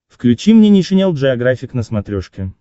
включи мне нейшенел джеографик на смотрешке